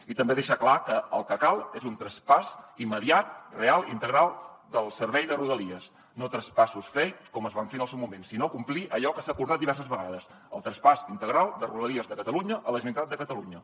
i també deixar clar que el que cal és un traspàs immediat real i integral del servei de rodalies no traspassos fake com es van fer en el seu moment sinó complir allò que s’ha acordat diverses vegades el traspàs integral de rodalies de catalunya a la generalitat de catalunya